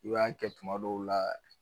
U y'a kɛ tuma dɔw la.